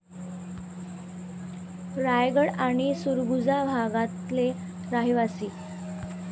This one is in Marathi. रायगड आणि सुरगुजा भागातले रहीवासी.